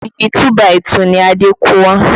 Igi 2 by 2 ni Adé kó wá